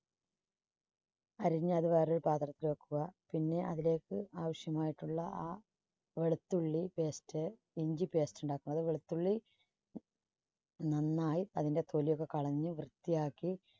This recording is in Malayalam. അരിഞ്ഞ് അത് വേറൊരു പാത്രത്തിലേക്ക് വെക്കുക. പിന്നെ അതിലേക്ക് ആവശ്യമായിട്ടുള്ള ആ വെളുത്തുള്ളി paste ഇഞ്ചി paste ഉണ്ടാക്കുക. അത് വെളുത്തുള്ളി നന്നായി അതിന്റെ തൊലി ഒക്കെ കളഞ്ഞ് വൃത്തിയാക്കി